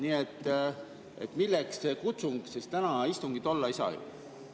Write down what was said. Nii et milleks see kutsung, sest täna istungit ei saa ju olla?